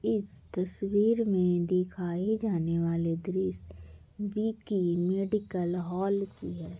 इस तस्वीर मे दिखाई जाने वाला दृश्य विक्की मेडिकल हॉल की है।